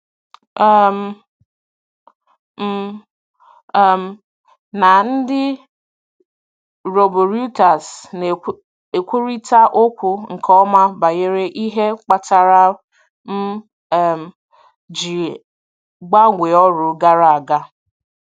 um M um na ndị riboruiters na-ekwurịta okwu nke ọma banyere ihe kpatara m um ji gbanwee ọrụ gara aga.